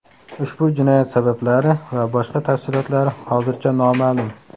Ushbu jinoyat sabablari va boshqa tafsilotlari hozircha noma’lum.